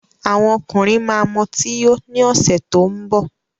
Àwọn ọkùnrin ma mọtí yó ní ọ̀sẹ̀ tó ń bọ̀